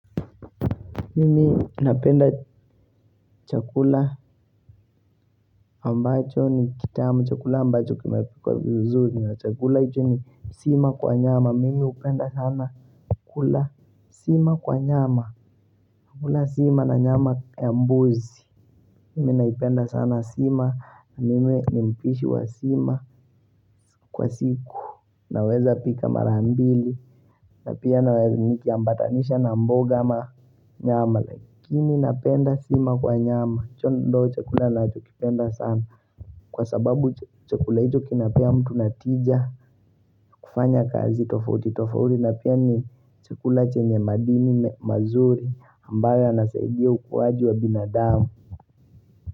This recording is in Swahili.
Mimi napenda chakula ambacho ni kitamu. Chakula ambacho kimepikwa vizuri. Chakula hucho ni sima kwa nyama. Mimi hupenda sana kula sima kwa nyama kula sima kwa nyama ya mbuzi Mimi naipenda sana sima. Mimi ni mpishi wa sima kwa siku Naweza pika mara mbili. Na pia nikiambatanisha na mboga ama nyama Lakini napenda sima kwa nyama hicho ndio chakula ninachokipenda sana Kwa sababu chakula hicho kinapea mtu natija kufanya kazi tofauti tofauti na pia ni chakula chenye madini mazuri ambayo yanasaidia ukuwaji wa binadamu.